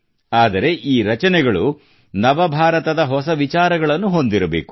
ಆದರೆ ಈ ರಚನೆಗಳು ನವಭಾರತದ ಹೊಸ ವಿಚಾರಗಳನ್ನು ಹೊಂದಿರಬೇಕು